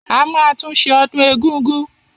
A máa tún ṣe ọdún egúngún.